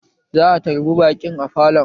Za a tarbi baƙin a falon